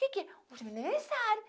Que que, hoje é aniversário